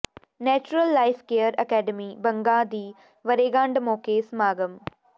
natural life care academy Banga ਦੀ ਵਰ੍ਹੇਗੰਢ ਮੌਕੇ ਸਮਾਗਮ